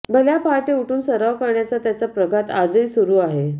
भल्या पहाटे उठून सराव करण्याचा त्याचा प्रघात आजही सुरू आहे